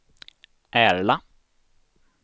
Ärla